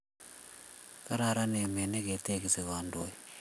Kararan emet ne ketekisi kandoik